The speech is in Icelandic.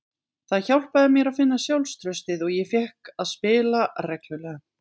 Það hjálpaði mér að finna sjálfstraustið og ég fékk að spila reglulega.